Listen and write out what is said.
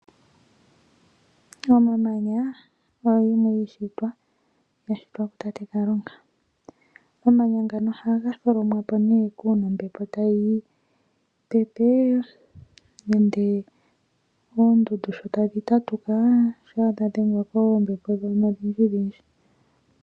Omamanya oyo yimwe yiishitwa yashitwa ku tate Kalunga, omamanya ngano ohaga dholomwapo nee uuna ombepo tayi pepe nenge oondundu sho tadhi tatuka shampa dha dhengwa koombepo dhono odhindjidhindji.